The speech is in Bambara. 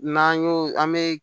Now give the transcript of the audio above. N'an y'o an bɛ